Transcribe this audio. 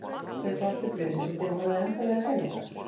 Kaupa aftur blöðin sem þið voruð að enda við að selja!